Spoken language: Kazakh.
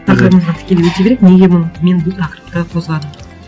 тақырыбымызға тікелей өте берейік мен неге мен бұл тақырыпты қозғадым